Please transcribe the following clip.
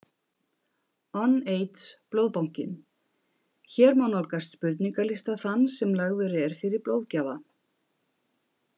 UNAIDS Blóðbankinn Hér má nálgast spurningalista þann sem lagður er fyrir blóðgjafa.